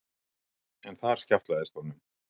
En þar skjátlaðist honum.